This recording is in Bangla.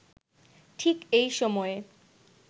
ঠিক এই সময়ে